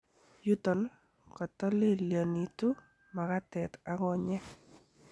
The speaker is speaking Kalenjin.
Yuton, kotolelionitu makatet ak konyek.